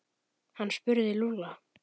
Hann spurði Lúlla.